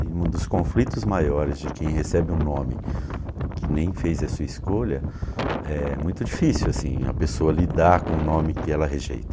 E um dos conflitos maiores de quem recebe um nome que nem fez a sua escolha, é muito difícil assim, a pessoa lidar com o nome que ela rejeita.